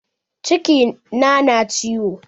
Ciki na na ciwo